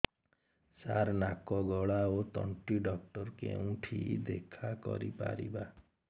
ସାର ନାକ ଗଳା ଓ ତଣ୍ଟି ଡକ୍ଟର ଙ୍କୁ କେଉଁଠି ଦେଖା କରିପାରିବା